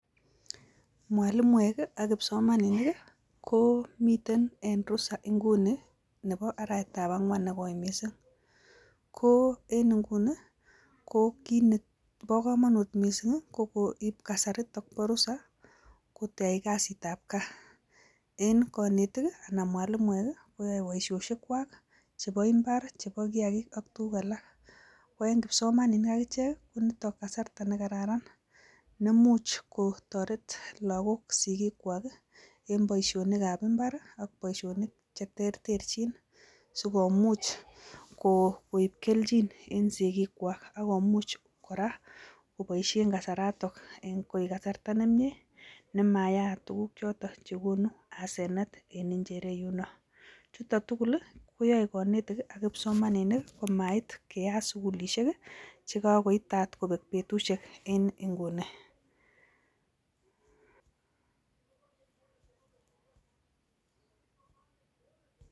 Mwalimoek ii ak kipsomaninik ii, ko miten en rusa inguni nebo arawetab angwan ne koi mising, ko en inguni ko kiit nebo kamanut mising ii, ko koib kasarit ak kwo rusa kotech kasitab gaa, en konetik ii anan mwalimoek ii, koyoe boisiosiekwak, chebo imbar chebo kiagik ak tukuk alak, ko eng kipsomaninik ak ichek ii ko nitok kasarta ne kararan nemuch kotoret lagok sikikwak ii en boisionikab imbar ii ak boisionik che terterchin sikomuch koip kelchin en sikikwak ak komuch kora koboisien kasaratok eng koek kasarta ne mie nemayaat tukuk choto che konu asenet en injereyuno, chuto tugul ii koyoe konetik ak kipsomaninik ii komait keyat sukulisiek ii che kakoitat kobek betusiek en inguni.